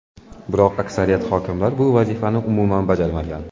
Biroq aksariyat hokimlar bu vazifani umuman bajarmagan.